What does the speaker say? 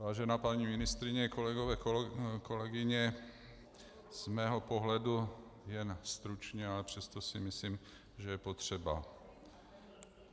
Vážená paní ministryně, kolegové, kolegyně, z mého pohledu jen stručně, ale přesto si myslím, že je potřeba.